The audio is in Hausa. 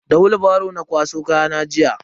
Da willbaro na kwaso kayana jiya.